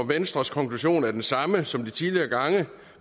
venstres konklusion er den samme som de tidligere gange